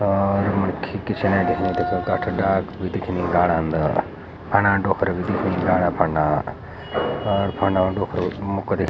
और मणखी पिछनै दिखणी तख गाठ डार्क भी दिखेणी राडा अंदर फ़णा डोख्रा भी दिखणी राडा फंडा अर फंडो डोख्रु मुख करी।